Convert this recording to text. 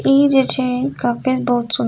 इ जे छै बहुत सुन्दर --